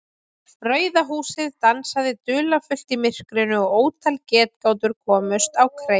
Rauða húsið dansaði dularfullt í myrkrinu og ótal getgátur komust á kreik.